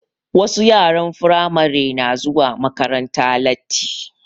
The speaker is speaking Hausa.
Wasu yaran Firamare na zuwa makaranta lati